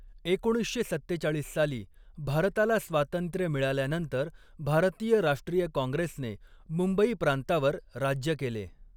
एकोणीसशे सत्तेचाळीस साली भारताला स्वातंत्र्य मिळाल्यानंतर, भारतीय राष्ट्रीय काँग्रेसने मुंबई प्रांतावर राज्य केले.